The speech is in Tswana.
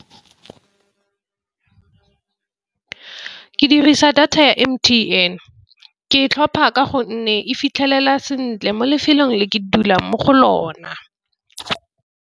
Ke dirisa data ya M_T_N ke e tlhopha ka gonne e fitlhelela sentle mo lefelong le ke dulang mo go lona.